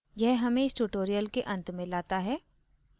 यह हमें इस tutorial के अंत में लाता है